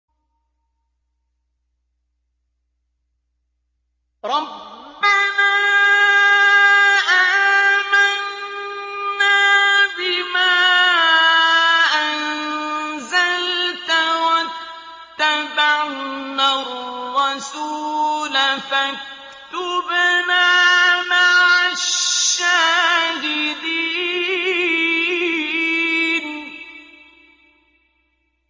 رَبَّنَا آمَنَّا بِمَا أَنزَلْتَ وَاتَّبَعْنَا الرَّسُولَ فَاكْتُبْنَا مَعَ الشَّاهِدِينَ